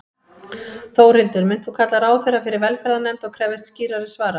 Þórhildur: Munt þú kalla ráðherra fyrir velferðarnefnd og krefjast skýrari svara?